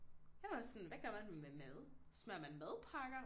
Jeg var sådan hvad gør man med mad smører man madpakker